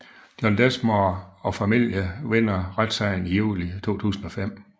John Densmore og familierne vinder retssagen i juli 2005